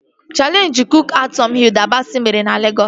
Chaleenjị kook-a-tọn Hilda Basị mere na Legọs